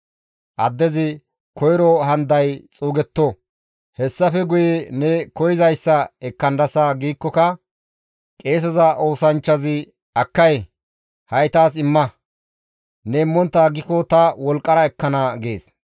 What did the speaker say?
Addezi, «Koyro haniday xuugetto; hessafe guye ne koyzayssa ekkandasa» giikkoka qeeseza oosanchchazi, «Akkay! Ha7i taas imma! Ne immontta aggiko ta wolqqara ekkana» gees.